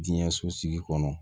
Diɲɛ sosigi kɔnɔ